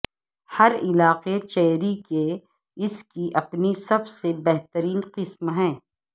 ہر علاقے چیری کے اس کی اپنی سب سے بہترین قسم ہے